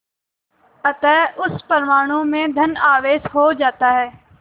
अतः उस परमाणु में धन आवेश हो जाता है